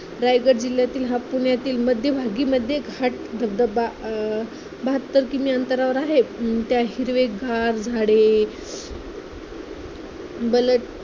रायगड जिल्ह्यातील हा पुण्यातील हा मध्यभागी मढे घाट धबधबा अं बहात्तर किमी अंतरावर आहे. अं त्यात हिरवेगार झाडे बला